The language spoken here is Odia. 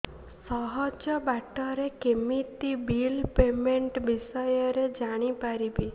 ସହଜ ବାଟ ରେ କେମିତି ବିଲ୍ ପେମେଣ୍ଟ ବିଷୟ ରେ ଜାଣି ପାରିବି